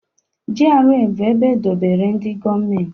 GRA bụ ebe e dobere ndị gọọmenti